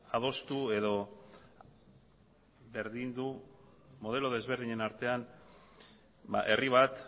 adostu edo berdindu modelo desberdinen artean herri bat